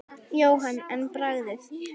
Jóhann: En bragðið?